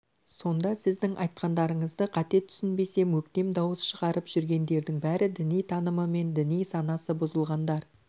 сонда сіздің айтқандарыңызды қате түсінбесем өктем дауыс шығарып жүргендердің бәрі діни танымы мен діни санасы бұзылғандар